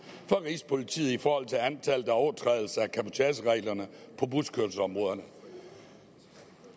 fra rigspolitiet i forhold til antallet af overtrædelser af cabotagereglerne på buskørselsområderne